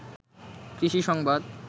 কৃষি সংবাদ